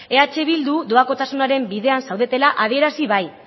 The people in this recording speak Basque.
eh bildu doakotasunaren bidean zaudela adierazi bai